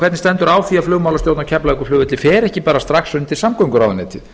hvernig stendur á því að flugmálastjórn á keflavíkurflugvelli fer ekki strax undir samgönguráðuneytið